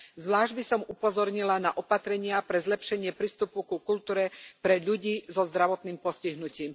Zvlášť by som upozornila na opatrenia pre zlepšenie prístupu ku kultúre pre ľudí so zdravotným postihnutím.